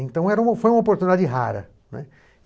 Então, era foi uma oportunidade rara, né.